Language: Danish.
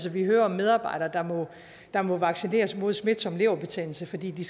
vi hører om medarbejdere der må vaccineres mod smitsom leverbetændelse fordi de